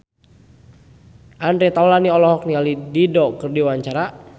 Andre Taulany olohok ningali Dido keur diwawancara